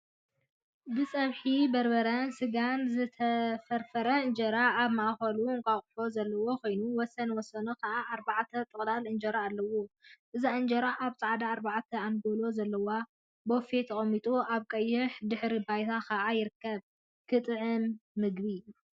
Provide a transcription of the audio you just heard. ብጸብሒ በርበረን ስጋን ዝተፈርፈረ እንጀራ ኣብ ማእከሉ እንቃቁሖ ዘለዎ ኮይኑ፣ ወሰን ወሰኑ ከዓ ኣርባዕተ ጥቅላል እንጀራ ኣለዎ። እዛ እንጀራ ኣብ ጻዕዳ ኣርባዕተ ኣንጎሎ ዘለዎ ቦፌ ተቀሚጡ ኣብ ቀይሕ ድሕረ ባይታ ከዓ ይርከብ። ኽትጥዕም ምግቢ!